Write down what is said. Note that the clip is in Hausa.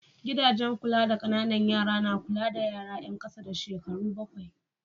Gidajen kula da ƙananan yara na kula da yara yan ƙasa da shekaru bakwai.